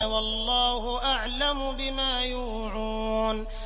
وَاللَّهُ أَعْلَمُ بِمَا يُوعُونَ